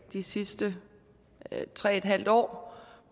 de sidste tre en halv år